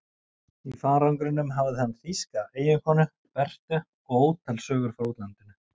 Í farangrinum hafði hann þýska eiginkonu, Berthu, og ótal sögur frá útlandinu.